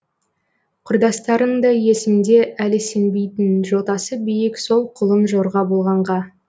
құрдастарың да есімде әлі сенбейтін жотасы биік сол құлын жорға болғанға